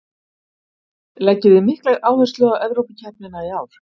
Leggið þið mikla áherslu á Evrópukeppnina í ár?